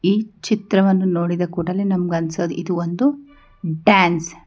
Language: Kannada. ಈ ಚಿತ್ರವನ್ನು ನೋಡಿದ ಕೂಡಲೇ ನಮಗೆ ಅನ್ನಿಸೋದು ಇದು ಒಂದು ಡ್ಯಾನ್ಸ್ .